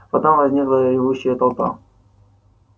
потом возникла ревущая толпа